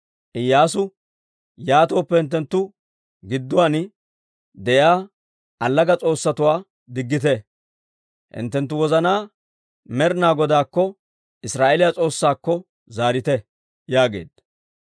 Iyyaasu, «Yaatooppe, hinttenttu gidduwaan de'iyaa allaga s'oossatuwaa diggite; hinttenttu wozanaa Med'ina Godaakko, Israa'eeliyaa S'oossaakko zaarite» yaageedda.